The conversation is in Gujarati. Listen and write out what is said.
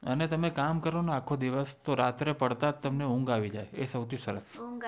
આને તમે કામ કરો ને આખોદિવસ રાત્રે પડતા જ તમને ઊંઘ આવી જય એ સૌથી સરસ